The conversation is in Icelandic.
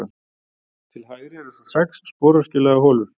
Til hægri eru svo sex sporöskjulaga holur.